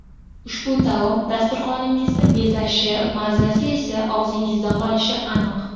Ushbu taom dasturxoningizni bezashi, mazasi esa og‘zingizda qolishi aniq.